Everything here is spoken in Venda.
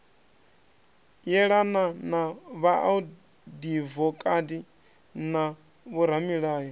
yelana na vhaadivokati na vhoramilayo